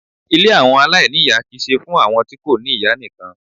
Ilé àwọn aláìníyà kì í ṣe fún àwọn tí kò ní ìyá nìkan.